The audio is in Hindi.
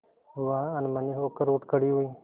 वह अनमनी होकर उठ खड़ी हुई